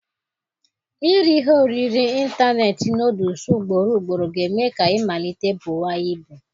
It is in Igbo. Iri ihe oriri ịntanetị nọọdụs ugborugboro ga-eme ka ị malite buwa ibu.